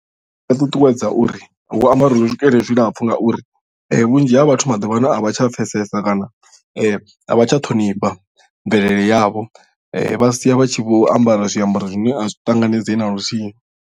Ndi nga ṱuṱuwedza uri hu ambariwe zwikete zwilapfhu ngauri vhunzhi ha vhathu maḓuvha ano a vha tsha pfesesa kana a vha tsha ṱhonifha mvelele yavho vha sia vha tshi vho ambara zwiambaro zwine a zwi ṱanganedzei naluthihi.